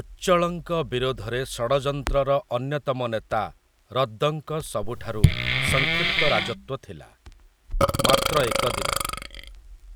ଉଚ୍ଚଳଙ୍କ ବିରୋଧରେ ଷଡ଼ଯନ୍ତ୍ରର ଅନ୍ୟତମ ନେତା ରଦ୍ଦଙ୍କ ସବୁଠାରୁ ସଂକ୍ଷିପ୍ତ ରାଜତ୍ଵ ଥିଲା, ମାତ୍ର ଏକ ଦିନ,